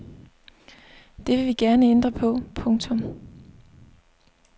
Det vil vi gerne ændre på. punktum